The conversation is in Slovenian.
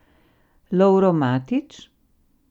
Lovro Matič?